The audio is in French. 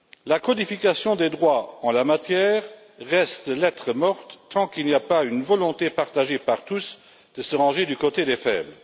La codification des droits en la matière restera lettre morte tant qu'il n'y aura pas de volonté partagée par tous de se ranger du côté des faibles.